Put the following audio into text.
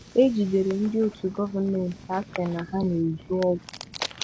Ejidere ndị òtù gọmenti asị na ha n'ézù ọgwụ.